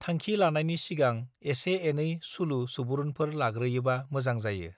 थांखि लानायनि सिगां एसे एनै सुलु सुबुरूनफोर लाग्रोयोबा मोजां जायो